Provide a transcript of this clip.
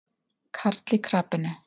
Karl í krapinu.